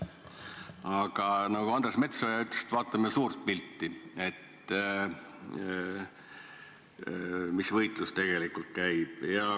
Aga nagu Andres Metsoja ütles, vaatame suurt pilti, mis võitlus tegelikult käib.